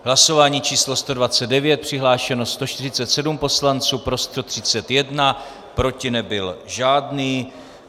Hlasování číslo 129, přihlášeno 147 poslanců, pro 131, proti nebyl žádný.